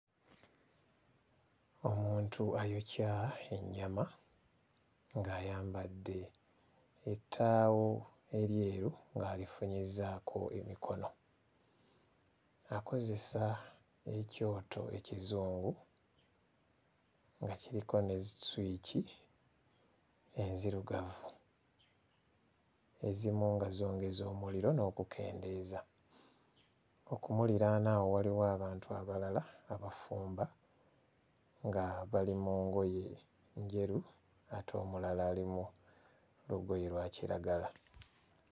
Omuntu ayokya ennyama ng'ayambadde ettaawo eryeru ng'alifunyizzaako emikono. Akozesa ekyoto ekizungu nga kiriko ne zisswici enzirugavu, ezimu nga zongeza omuliro n'okukendeeza. Okumuliraana awo waliwo abantu abalala abafumba nga bali mu ngoye njeru ate omulala ali mu lugoye lwa kiragala.